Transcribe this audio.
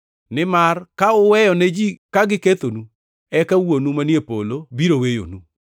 Nimar ka uweyo ne ji ka gikethonu, eka Wuonu manie polo biro weyonu.